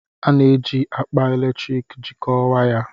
A na-eji akpa eletrik jikọọ wires.